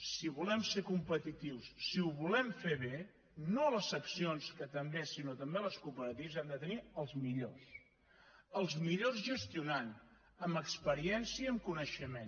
si volem ser competitius si ho volem fer bé no les seccions que també sinó també les cooperatives hem de tenir els millors els millors gestionant amb experiència i amb coneixement